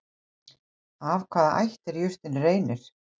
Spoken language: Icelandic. Af hvaða ætt er jurtin Reynir?